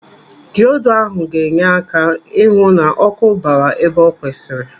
Diodu ahụ ga-enye aka ịhụ na ọkụ bara ebe o kwesịrị.